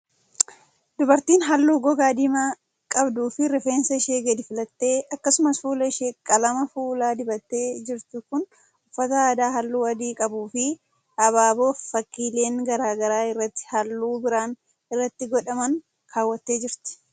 Dubartiin haalluu gogaa diimaa qabduu fi rifeensa ishee gadi filtee akkasumas fuula ishee qalama fuulaa dibattee jirtu kun, uffata aadaa haalluu adii qabuu fi abaaboo fi fakkiileen garaa garaa irratti haalluu biraan irratti hodhaman kaawwattee jirti.